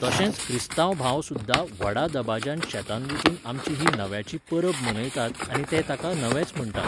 तशेच क्रिस्तांव भाव सुद्दां व्हडा दबाज्यान शेतांत वचून आमची ही नव्याची परब मनयतात आनी ते ताका नवेंच म्हणटात.